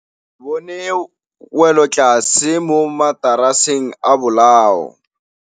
Re bone wêlôtlasê mo mataraseng a bolaô.